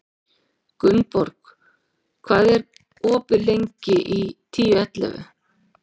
Gunnborg, hvað er opið lengi í Tíu ellefu?